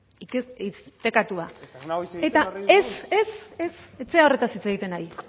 hizketatua eta ez ez ez zera horretaz hitz egiten ari